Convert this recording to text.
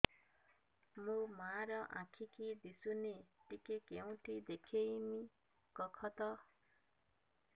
ମୋ ମା ର ଆଖି କି ଦିସୁନି ଟିକେ କେଉଁଠି ଦେଖେଇମି କଖତ